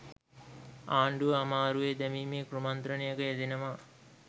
ආණ්ඩුව අමාරුවේ දැමීමේ කුමන්ත්‍රණයක යෙදෙනවා